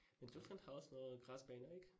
Men Tyskland har også noget græsbaner ik?